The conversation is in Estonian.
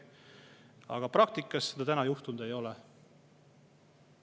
Aga praktikas seda juhtunud ei ole.